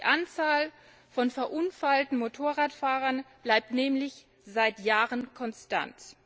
Die Anzahl von verunfallten Motorradfahrern bleibt nämlich seit Jahren konstant.